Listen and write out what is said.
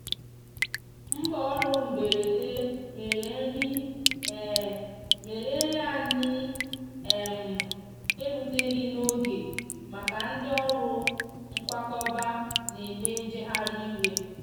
mgbaọrụ mgberede mere nri mere nri anyi um eruteghi n'oge maka ndi ọrụ nkwakọba n'eme njeghari iwe.